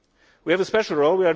We have a special role.